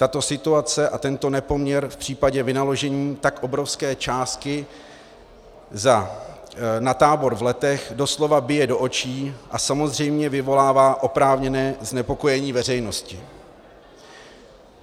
Tato situace a tento nepoměr v případě vynaložení tak obrovské částky na tábor v Letech doslova bije do očí a samozřejmě vyvolává oprávněné znepokojení veřejnosti.